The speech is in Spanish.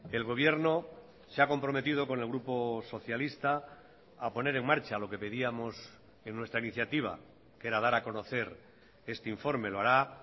el gobierno se ha comprometido con el grupo socialista a poner en marcha lo que pedíamos en nuestra iniciativa que era dar a conocer este informe lo hará